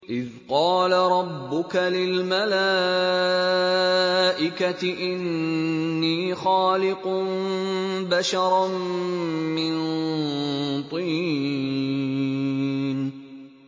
إِذْ قَالَ رَبُّكَ لِلْمَلَائِكَةِ إِنِّي خَالِقٌ بَشَرًا مِّن طِينٍ